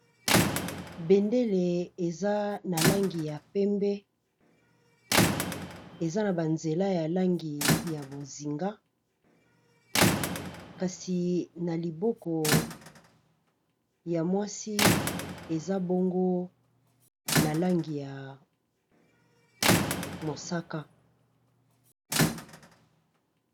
Bendele eza na langi ya pembe, eza na ba nzela ya langi ya bozinga, kasi na liboko ya mwasi eza bongo na langi ya mosaka .